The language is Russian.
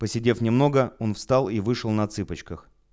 посидев немного он встал и вышел на цыпочках